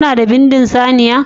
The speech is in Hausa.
Kuna da bindin saniya